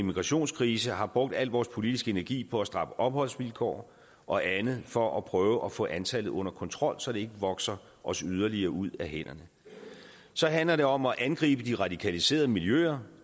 og migrationskrise har brugt al vores politiske energi på at stramme opholdsvilkår og andet for at prøve at få antallet under kontrol så det ikke vokser os yderligere ud af hænderne så handler det om at angribe de radikaliserede miljøer